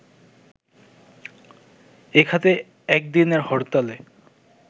এ খাতে একদিনের হরতালে